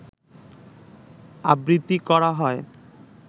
আবৃত্তি করা হয়